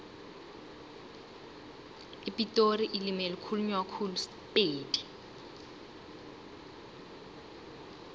epitori ilimi elikhulunywa khulu sipedi